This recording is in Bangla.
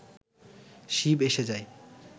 শিব এসে যায়